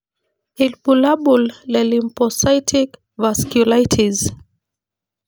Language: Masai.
Ibulabul le Lymphocytic vasculitis.